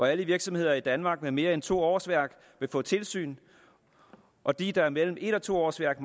alle virksomheder i danmark med mere end to årsværk få et tilsyn og de der har mellem et og to årsværk